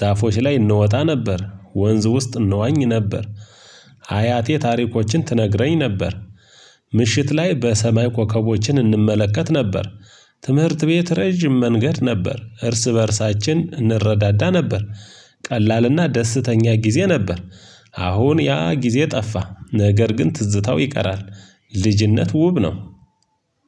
ዛፎች ላይ እንወጣ ነበር ወንዝ ውስጥ እንዋኝ ነበር። ሀያቴ ታሪኮችን ትነግረኝ ነበር። ምሽት ላይ በሰማይ ኮከቦችን እንመለከት ነበር። ትምህርት ቤት ረጅም መንገድ ነበር እርስ በእርሳችን እንረዳዳ ነበር። ቀላልና ደስተኛ ጊዜ ነበር። አሁን ያ ጊዜ ጠፋ ነገር ግን ትዝታው ይቀራል። ልጅነት ውብ ነው።